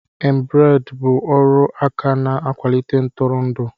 Embrade bụ ọrụ aka na-akwalite ntụrụndụ